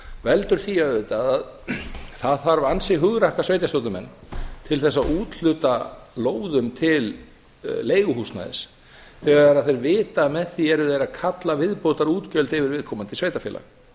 veldur því auðvitað að það þarf ansi hugrakka sveitarstjórnarmenn til þess að úthluta lóðum til leiguhúsnæðis þegar þeir vita að með því eru þeir að kalla viðbótarútgjöld yfir viðkomandi sveitarfélag